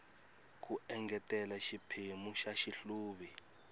ku engetela xiphemu xa xihluvi